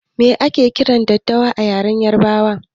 Me ake kiran daddawa da yaren yarbanci?